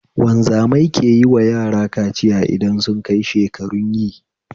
Wanzamai keyiwa yara kaciya idan sunkai shekarun yi